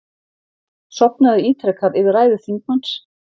Sofnaði ítrekað yfir ræðu þingmanns